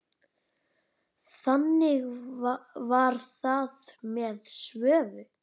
Þannig var það með Svövu.